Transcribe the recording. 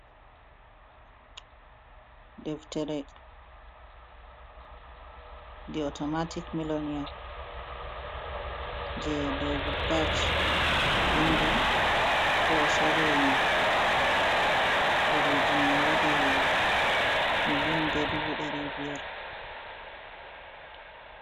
Deftere 'The automatic millionaire' je David Bach vindi, bo o sorri. Ɗereji mai waɗi milion be dubu ɗari biyar (1,500,000).